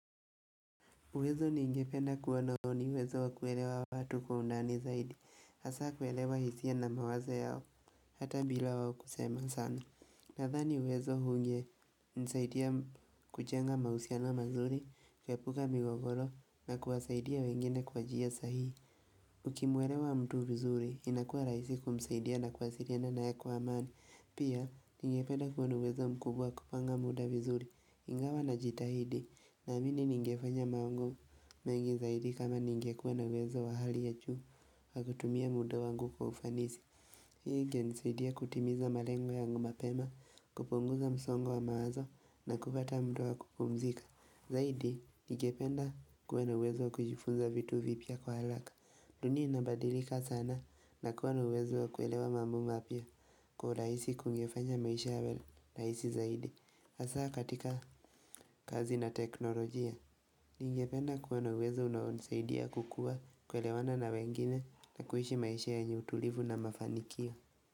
Uwezo ningependa kuwa nao ni uwezo wakuelewa watu kwa undani zaidi, hasa kuelewa hisia na mawaza yao, hata bila wao kusema sana. Nathani uwezo unge nisaidia kujenga mahusiano mazuri, kuepuka migogoro na kuwasaidia wengine kwa njia sahihi. Ukimwelewa mtu vizuri, inakuwa rahisi kumsaidia na kuwasiliana na yeye kwa amani. Pia, ningependa kuwa na uwezo mkubwa wa kupanga muda vizuri, ingawa na jitahidi, na amini ningefanya mango mengi zaidi kama ningekuwe na uwezo wa hali ya juu wakutumia muda wangu kwa ufanisi. Hii ingenisidia kutimiza malengo yangu mapema, kupunguza msongo wa mawazo na kupata mda wa kupumzika. Zaidi, ningependa kuwa na uwezo kujifunza vitu vipya kwa haraka. Dunia inabadilika sana na kuwa na uwezo kuelewa mambo mapya kwa urahisi kungefanya maisha yawe rahisi zaidi. Hasa katika kazi na teknolojia, ningependa kuwa na uwezo unaonisaidia kukua kuelewana na wengine na kuishi maisha yenye utulivu na mafanikio.